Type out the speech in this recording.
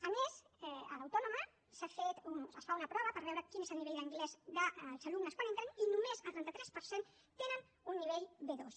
a més a l’autònoma es fa una prova per veure quin és el nivell d’anglès dels alumnes quan entren i només el trenta tres per cent tenen un nivell b2